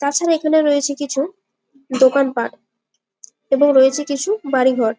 তা ছাড়া এখনে রয়েছে কিছু দোকান পাঠ এবং রয়েছে কিছু বাড়ি ঘর।